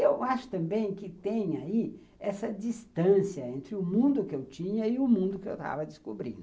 Eu acho também que tem aí essa distância entre o mundo que eu tinha e o mundo que eu estava descobrindo.